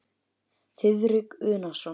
Þiðrik Unason.